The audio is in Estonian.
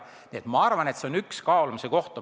Nii et ma arvan, et see on üks kaalumise koht.